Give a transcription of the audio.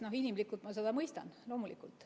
Inimlikult ma seda mõistan, loomulikult.